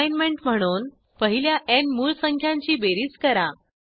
assignment म्हणून पहिल्या न् मूळ संख्यांची बेरीज करा